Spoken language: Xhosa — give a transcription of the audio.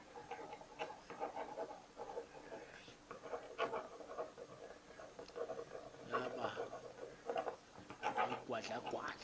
yaba ligwadla gwadla